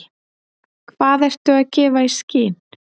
Hvað ertu að gefa í skyn?